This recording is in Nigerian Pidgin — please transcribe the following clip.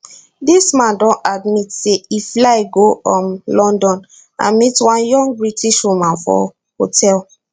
dis man don admit say e fly go um london and meet one young british woman for hotel